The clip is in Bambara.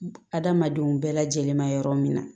Adamadenw bɛɛ lajɛlen ma yɔrɔ min na